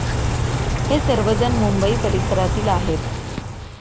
हे सर्वजण मुंबई परिसरातील आहेत.